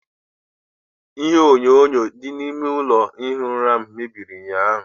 Ihe enyonyo dị n'ime ụlọ ihi ụra m mebiri ụnyaahụ.